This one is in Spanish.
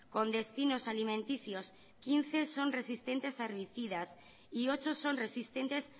con destinos alimenticios quince son resistentes a herbicidas y ocho son resistentes